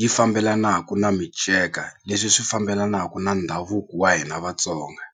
yi fambelanaka na minceka leswi swi fambelanaka na ndhavuko wa hina Vatsonga.